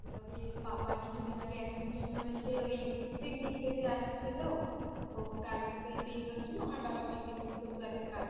এবারে পাপার কিছুদিন আগে Accident হয়েছে ওই picnic থেকে আসছিলো তো গাড়িতে তিনজন ছিল আমার বাবা middle এ ছিল তো একটা কাঠের